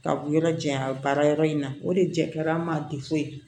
Ka bɔ yɔrɔ jan baara yɔrɔ in na o de jɛra an ma